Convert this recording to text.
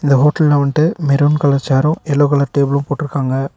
இந்த ஹோட்ல்ல one maroon colour சேரும் எல்லோ கலர் டேபிள்ளும் போட்ருக்காங்க.